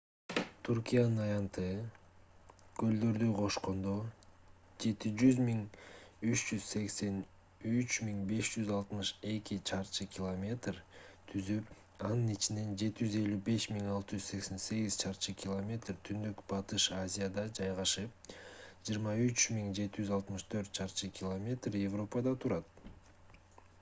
түркиянын аянты көлдөрдү кошкондо 783 562 чарчы км 300 948 чарчы миля түзүп анын ичинен 755 688 чарчы км 291 773 чарчы миля түндүк-батыш азияда жайгашып 23 764 чарчы км 9174 чарчы миля европада турат